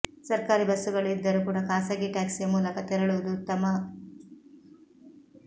ಸರ್ಕಾರಿ ಬಸ್ಸುಗಳು ಇದ್ದರು ಕೂಡ ಖಾಸಗಿ ಟ್ಯಾಕ್ಸಿಯ ಮೂಲಕ ತೆರಳುವುದು ಉತ್ತಮ